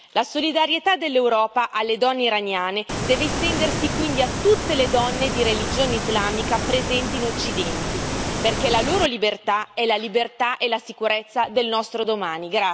La solidarietà dell'Europa alle donne iraniane deve estendersi quindi a tutte le donne di religione islamica presenti in Occidente, perché la loro libertà è la libertà e la sicurezza del nostro domani.